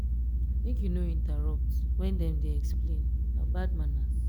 make you no interrupt when dem dey explain na bad manners.